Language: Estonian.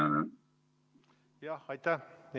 Aitäh!